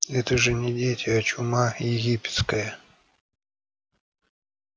это же не дети а чума египетская